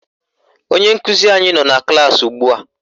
Onye nkụzi anyị nọ na klaasị ugbua